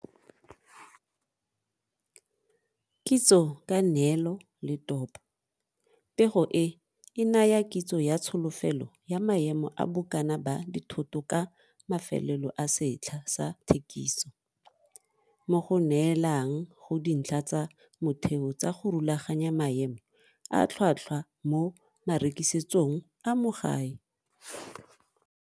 Kitso ka neelo le topo. Pego e e naya kitso ya tsholofelo ya maemo a bokana ba dithoto ka mafelelo a setlha sa thekiso, mo go neelang go dintlha tsa motheo tsa go rulaganya maemo a tlhotlhwa mo marekisetsong a mo gae.